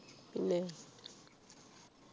പിന്നെ